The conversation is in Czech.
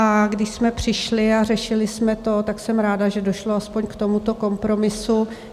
A když jsme přišli a řešili jsme to, tak jsem ráda, že došlo aspoň k tomuto kompromisu.